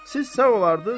Siz sağ olardız.